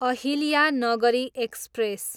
Ahilyanagari express